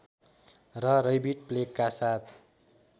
र रैबिट प्लेगका साथ